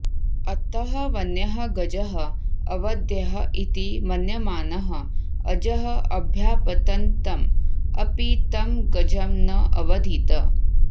अतः वन्यः गजः अवध्यः इति मन्यमानः अजः अभ्यापतन्तम् अपि तं गजं न अवधीत्